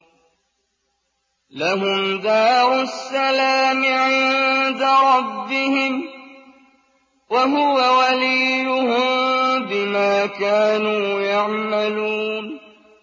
۞ لَهُمْ دَارُ السَّلَامِ عِندَ رَبِّهِمْ ۖ وَهُوَ وَلِيُّهُم بِمَا كَانُوا يَعْمَلُونَ